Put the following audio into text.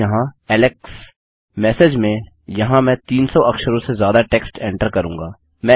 अतः यहाँ Alex message में यहाँ मैं 300 अक्षरों से ज्यादा टेक्स्ट एन्टर करूँगा